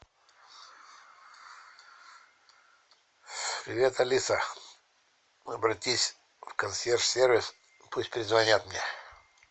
привет алиса обратись в консьерж сервис пусть перезвонят мне